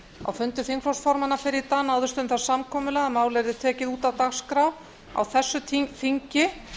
á fundi þingflokksformanna fyrr í dag náðist um það samkomulag að málið yrði tekið út af dagskrá á þessu þingi